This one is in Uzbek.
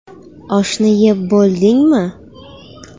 Oshni yeb bo‘ldingmi?